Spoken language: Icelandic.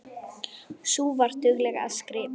Sú var dugleg að skrifa.